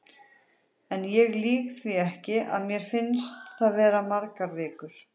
En ég lýg því ekki, að mér fannst það vera margar vikur.